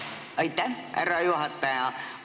Aitäh, härra juhataja!